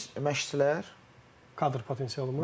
Məşqçilər kadr potensialımız.